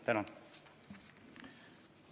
Tänan!